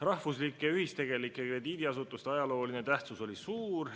Rahvuslike ühistegelike krediidiasutuste ajalooline tähtsus oli suur.